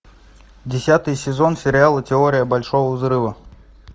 десятый сезон сериала теория большого взрыва